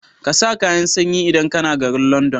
ƙasa kayan sanyi idan kAna garin London